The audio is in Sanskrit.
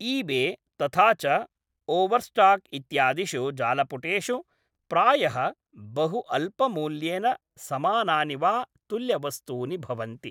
ईबे तथाच ओवर्स्टाक् इत्यादिषु जालपुटेषु प्रायः बहु अल्पमूल्येन समानानि वा तुल्यवस्तूनि भवन्ति।